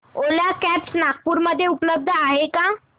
ओला cabs Nagpur मध्ये उपलब्ध आहे का